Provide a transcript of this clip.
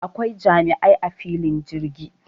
Akwai jami'ai a filin jirgi